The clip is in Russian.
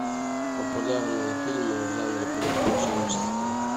популярные фильмы в жанре приключенческий